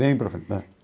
Bem para frente, né?